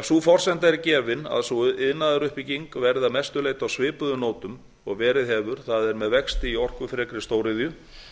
ef sú forsenda er gefin að sú iðnaðaruppbygging verði að mestu leyti á svipuðum nótum og verið hefur það er með vexti í orkufrekri stóriðju er